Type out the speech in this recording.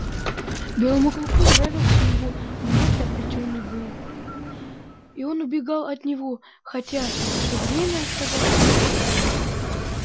белому клыку нравился его вновь обретённый бог и он убегал от него хотя всё время оставался на свободе